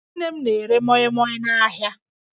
Nne m na-ere mọịmọị n'ahịa